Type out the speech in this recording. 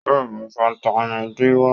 Yóò mú fataímìn D wá.